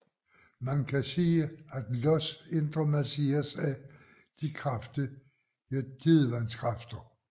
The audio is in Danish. Man kan sige at Ios indre masseres af de kraftige tidevandskræfter